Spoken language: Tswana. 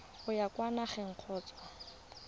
o ya kwa nageng kgotsa